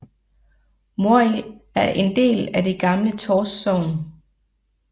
Morild er en del af det gamle Tårs Sogn